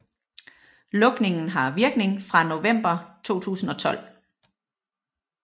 Lukningen har virkning fra november 2012